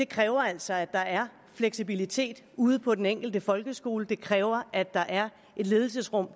kræver altså at der er fleksibilitet ude på den enkelte folkeskole det kræver at der er et ledelsesrum